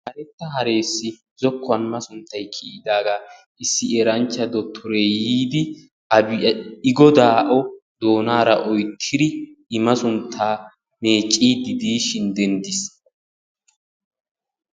karetta haressi zokkuwan masunttay kiyiidaaga issi eranchcha dottoree yiidi I godaa o doonaara oyttidi I masuntta meeccidi diishin denttiis.